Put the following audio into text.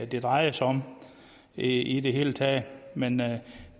det drejer sig om i det hele taget men